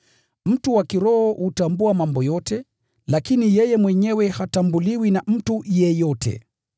Mtu wa kiroho hubainisha mambo yote, lakini yeye mwenyewe habainishwi na mtu yeyote.